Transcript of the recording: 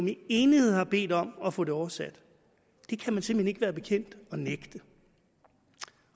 i enighed har bedt om at få oversat det kan man simpelt hen ikke være bekendt at nægte